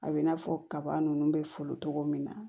A bɛ i n'a fɔ kaba ninnu bɛ foolo cogo min na